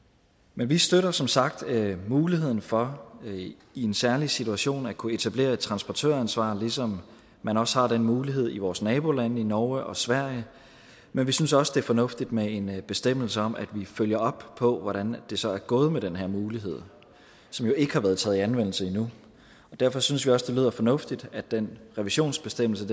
men vi støtter som sagt muligheden for i en særlig situation at kunne etablere et transportøransvar ligesom man også har den mulighed i vores nabolande i norge og sverige men vi synes også at det er fornuftigt med en bestemmelse om at vi følger op på hvordan det så er gået med den her mulighed som jo ikke har været taget i anvendelse endnu derfor synes vi også at det lyder fornuftigt at den revisionsbestemmelse